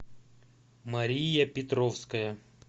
мария петровская